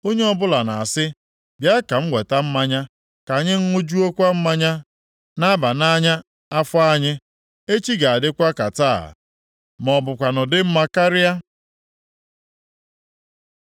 Onye ọbụla na-asị, “Bịa ka m weta mmanya, ka anyị ṅụjuokwa mmanya nʼaba nʼanya afọ anyị. Echi ga-adịkwa ka taa, ma ọ bụkwanụ dị mma karịa.”